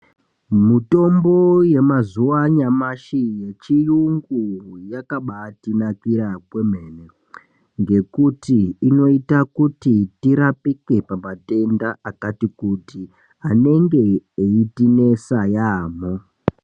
Mutombo yamazuwa anyamashi yechiyungu yakabaatinakira kwemene ngekuti inoita kuti tirapike pamatenda akati kuti anenge eitinetsa yaamho.